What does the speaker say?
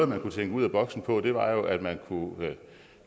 man kunne tænke ud ad boksen på var jo at man